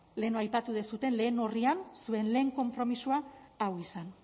lehen aipatu duzuen lehen orrian zuen lehen konpromisoa hau izan